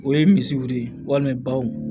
O ye misiguru ye walima baw